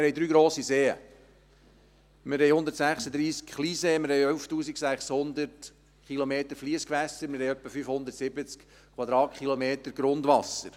Wir haben drei grosse Seen, wir haben 136 Kleinseen, wir haben 11 600 Kilometer Fliessgewässer, wir haben etwa 570 Quadratkilometer Grundwasser.